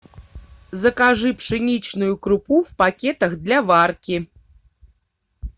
закажи пшеничную крупу в пакетах для варки